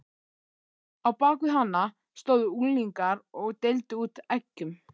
Á bak við hana stóðu unglingar og deildu út eggjum.